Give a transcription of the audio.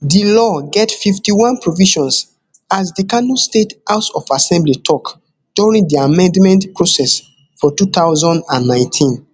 di law get fifty-one provisions as di kano state house of assembly tok during di amendment process for two thousand and nineteen